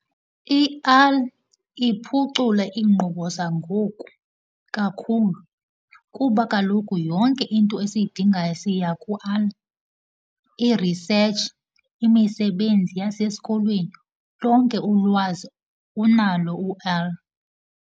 iphucula iinkqubo zangoku kakhulu kuba kaloku yonke into esiyidingayo siya . I-research, imisebenzi yasesikolweni, lonke ulwazi unalo .